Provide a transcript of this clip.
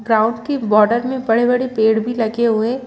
ground के border में बड़े-बड़े पेड़ भी लगे हुए--